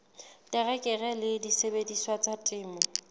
terekere le disebediswa tsa temo